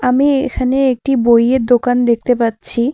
আমি এখানে একটি বইয়ের দোকান দেখতে পাচ্ছি।